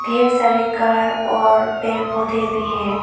ढेर सारे कार और पेड़ पौधे भी है।